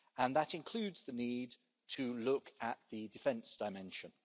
That includes the need to look at the defence dimension.